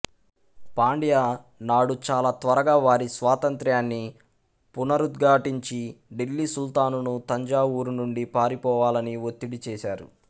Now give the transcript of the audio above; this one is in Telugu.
పాండ్య నాడు చాలా త్వరగా వారి స్వాతంత్ర్యాన్ని పునరుద్ఘాటించి ఢిల్లీ సుల్తానును తంజావూరు నుండి పారిపోవాలని ఒత్తిడి చేశారు